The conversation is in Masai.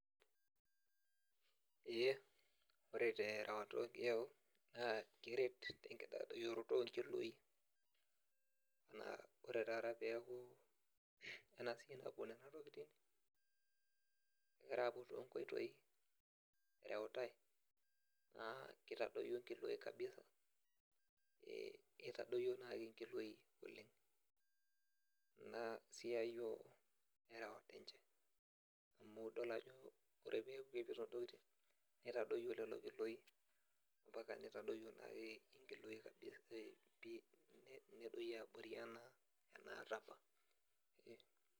Eeh ore terewata ogiyau naa keret tenkitadoyioroto onkiloi naa ore taata peaku ena siai napuo nena tokiting egira apuo tonkoitoi ereutae naa kitadoyio inkiloi kabisa eh itadoyio naake inkiloi oleng ina siai oh erewata enche amu idol ajo ore peaku kepuoito intokiting nitadoyio lelo kiloi ampaka nitadoyio naai inkiloi kabisa eh pii nedoyio abori enaa enaata apa.